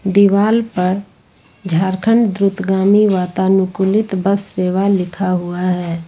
दीवाल पर झारखंड दूतगामी वातानुकूलित बस सेवा लिखा हुआ है।